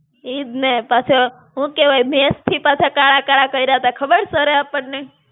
ઈજ ને પાછા હું કેવાય, મેશથી પાછા કાળા-કાળા કયરા તા ખબર sir એ આપણને?